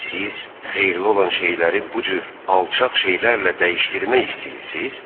Siz xeyirli olan şeyləri bu cür alçaq şeylərlə dəyişdirmək istəyirsiz?